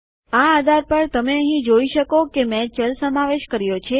આ આધાર પર તમે અહીં જોઈ શકો કે મેં ચલ સમાવેશ કર્યો છે